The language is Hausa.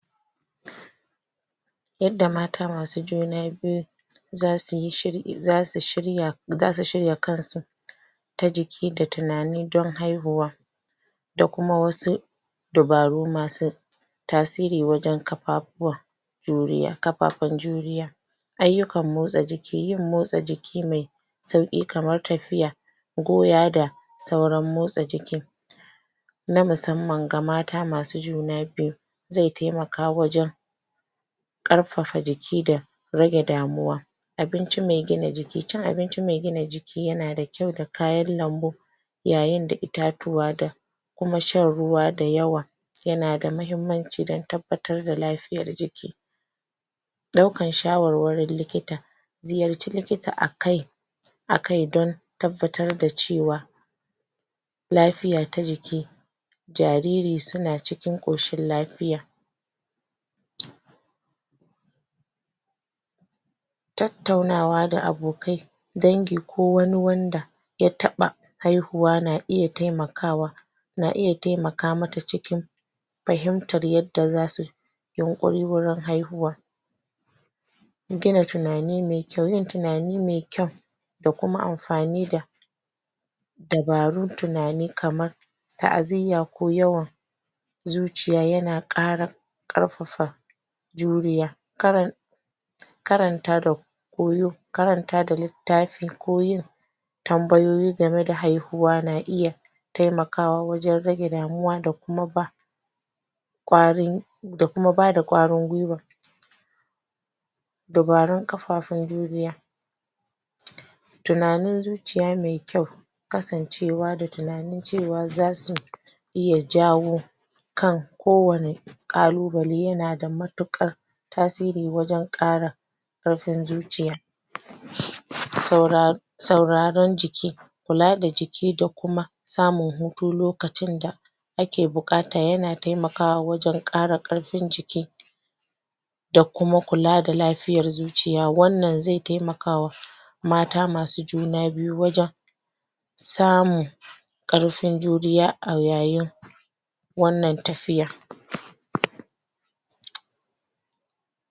Yadda mata masu juna biyu zausyi shiri...zasu shirya.. zasu shirya kansu ta jiki da tunani dan haihuwa da kuma wasu dabaru masu tasiri wajen kapawawa juriya.. kapapan juriya aiyukan motsa jiki, yin motsa jiki mai sauki kamar tafiya goya da sauran motsa jiki na musamman ga mata masu juna biyu zai taimaka wajen karfafa jiki rage damuwa abinci mai gina jiki, cin abinci mai kyau da gina jiki da kayan lambu yayin da itatuwa da kuma shan ruwa dad yawa yana da muhimmanci dan tabbatar da lafiyan jiki daukar shawarwarin likita ziyarce likita akai akai don tabbatar da cewa lafiya ta jiki jariri suna cikin koshin lafiya tattaunawa da abokai dangi ko wani wanda ya taba haihuwa na iya taimakwa na iya taimaka mata cikin fahimtar yadda yunkororin haihuwa gina tunani mai kyau yin tunani mai kyau da kuma amafani da dabarun tunani kaman ta'aziya ko yawan zuciya yana kara karfafa juriya karan.. karanta karanta da littafin ko yin tambayoyi game da haihuwa na iya taimakawa wajen damuwa da kuma kwarin da kuma bada kwarin gwiwa dabarun kafafen juriya tunanin zuciya mai kyau kasancewa da tunanin cewa zasu iya jawo kan ko wane kalubale yanada matukar tasiri wajen kara karfin zuciya saura sauraren jiki kula da jiki da kuma samun hutu liokacin da ake bukata yana taimakwa wajen kara karfin jiki da kuma kula da lafiyan zuciya, wannan zai taimakwa wa mata masu juna biyu wajen samun karfin juriya a yayin wannan tafiya